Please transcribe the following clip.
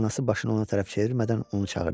Anası başını ona tərəf çevirmədən onu çağırdı.